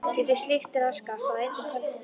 Getur slíkt raskast á einni kvöldstund?